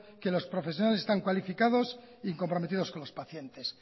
que los profesionales están cualificados y comprometidos con los pacientes